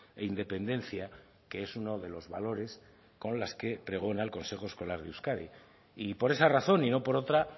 e independencia que es uno de los valores con las que pregona el consejo escolar de euskadi y por esa razón y no por otra